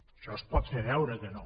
això es pot fer veure que no